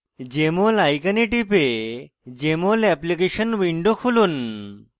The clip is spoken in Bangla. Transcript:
jmol icon টিপে jmol অ্যাপ্লিকেশন window খুলুন